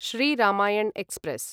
Shri Ramayan express